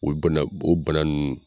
O bana o bana ninnu